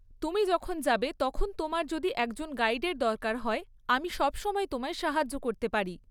তুমি যখন যাবে তখন তোমার যদি একজন গাইডের দরকার হয়, আমি সবসময় তোমায় সাহায্য করতে পারি।